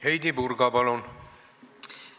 Heidy Purga, palun!